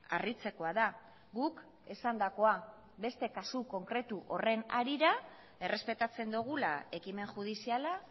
harritzekoa da guk esandakoa beste kasu konkretu horren harira errespetatzen dugula ekimen judiziala